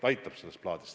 Aitab sellest plaadist.